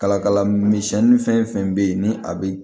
Kala kala misɛnni fɛn fɛn bɛ yen ni a bɛ